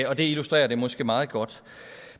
og det illustrerer det måske meget godt